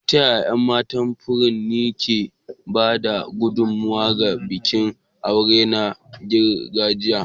Ta yaya ƴan matan furanni ke ba da gudummawa ga bikin aure na gargajiya?